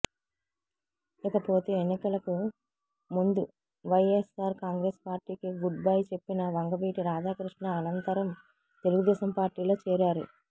ఇకపోతే ఎన్నికలకు ముందు వైయస్ఆర్ కాంగ్రెస్ పార్టీకి గుడ్ బై చెప్పిన వంగవీటి రాధాకృష్ణ అనంతరం తెలుగుదేశం పార్టీలో చేరారు